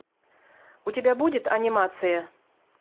у тебя будет анимация